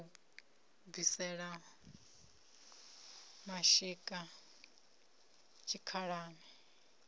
ya u bvisela mashika tshikhalani